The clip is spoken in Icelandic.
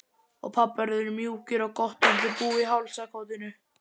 Og pabbar urðu mjúkir og gott undir bú í hálsakotinu.